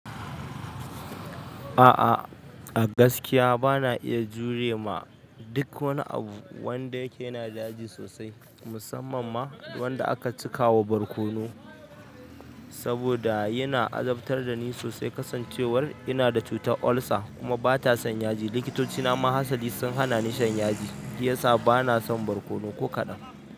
A'a, a gaskiya bana iya jure ma duk wani abu wanda yake yana da yaji sosai, musamman ma wanda aka cika wa barkono, saboda yana azabtar da ni sosai kasancewar ina da cutar ulcer kuma bata son yaji. Likitoci na ma hatsali sun hana ni shan yaji, shi yasa bana son barkono ko kaɗan.